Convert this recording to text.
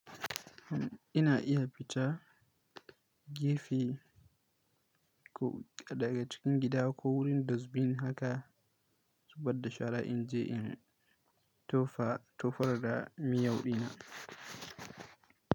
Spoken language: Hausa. Ina iya fita gefe ko daga cikin gida ko wurin dusbin haka, zubadda shara in je in tofa tofar da miyau ɗina.